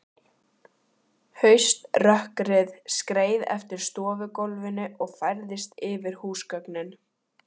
Hauströkkrið skreið eftir stofugólfinu og færðist yfir húsgögnin.